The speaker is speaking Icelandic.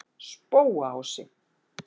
Spóaási